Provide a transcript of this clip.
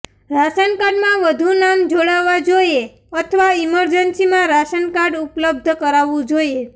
ration કાર્ડમાં વધુ નામ જોડવા જોઇએ અથવા ઇમરજન્સીમાં રાશન કાર્ડ ઉપલબ્ધ કરાવવું જોઇએ